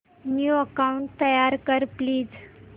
new account तयार कर please